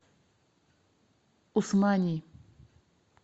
усмани